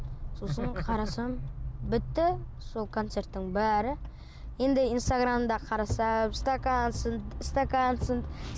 сосын қарасам бітті сол концерттің бәрі енді инстаграмда қарасам стакан сынды стакан сынды